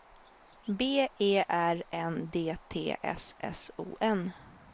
B E R N D T S S O N